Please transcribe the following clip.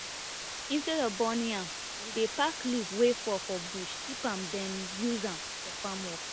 instead of burning am we dey pack leaf wey fall for bush keep am then use am for farm work